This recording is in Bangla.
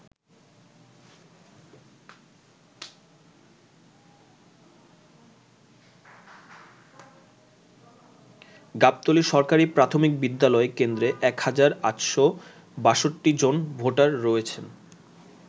গাবতলী সরকারি প্রাথমিক বিদ্যালয় কেন্দ্রে ১ হাজার ৮৬২ জন ভোটার রয়েছেন।